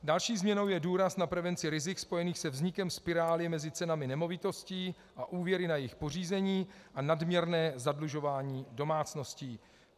Další změnou je důraz na prevenci rizik spojených se vznikem spirály mezi cenami nemovitostí a úvěry na jejich pořízení a nadměrné zadlužování domácností.